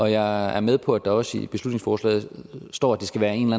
jeg er med på at der også i beslutningsforslaget står at det skal være en